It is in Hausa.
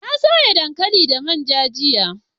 na soya dankali da manja jiya